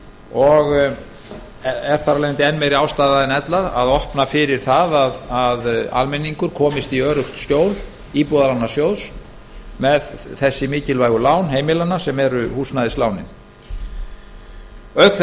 og er þar af leiðandi enn meiri ástæða en ella til að opna fyrir það að almenningur komist í öruggt skjól íbúðalánasjóði með þessi mikilvægu lán heimilanna sem eru húsnæðislánin auk